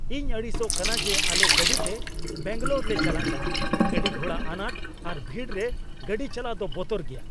ᱤᱧ ᱟᱹᱲᱤᱥᱚᱜ ᱠᱟᱱᱟ ᱡᱮ ᱟᱞᱮ ᱜᱟᱹᱰᱤᱛᱮ ᱵᱮᱝᱜᱟᱞᱳᱨ ᱞᱮ ᱪᱟᱞᱟᱜ ᱠᱟᱱᱟ ᱾ ᱜᱟᱹᱰᱤᱼᱜᱷᱚᱲᱟ ᱟᱱᱟᱴ ᱟᱨ ᱵᱷᱤᱲ ᱨᱮ ᱜᱟᱹᱰᱤ ᱪᱟᱞᱟᱣ ᱫᱚ ᱵᱚᱛᱚᱨ ᱜᱮᱭᱟ ᱾